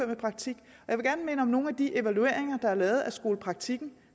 med praktik og om nogle af de evalueringer der er lavet af skolepraktikken